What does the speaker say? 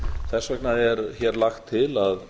þess vegna er hér lagt til að